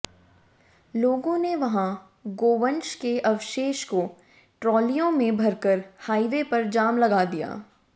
लोगों ने वहां गोवंश के अवशेष को ट्रालियों में भरकर हाईवे पर जाम लगा दिया